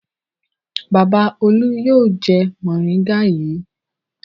Bàbá Olú yóò jẹ mòríngà yìí.